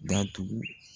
Datugu